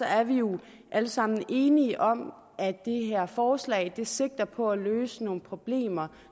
er vi jo alle sammen enige om at det her forslag sigter på at løse nogle problemer